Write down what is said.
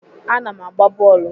Ana m agba bọọlụ.